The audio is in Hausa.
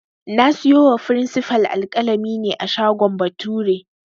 Na siyo wa frinsifal alƙalami ne a shagon Bature